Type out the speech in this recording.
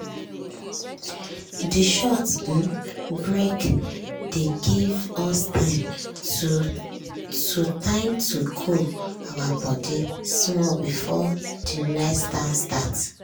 de short um break dey give us time to time to cool our body small before de next dance start.